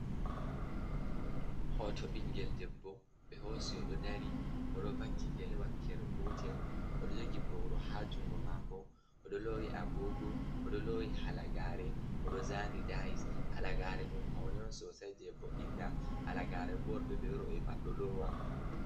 Hoto biingel debbo ɓe hosi oɗo dari oɗo vakki gele wakkere gotel oɗo jogi ɓoru ha jungo mako agogo oɗo lowi halagare oɗo zani dais halagare ɗum pauni sosai jebo’inta halagare bo worɓe be roɓe pat do lowa.